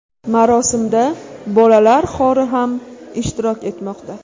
Marosimda bolalar xori ham ishtirok etmoqda.